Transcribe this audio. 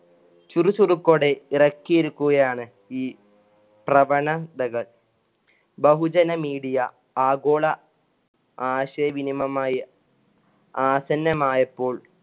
ചുറുചുറുക്കോടെ ഇറക്കിരിക്കുകയാണ് ഈ പ്രഭനതകൾ ബഹുജന media ആഗോള ആശയവിനിമയമായി ആസന്നമായപ്പോൾ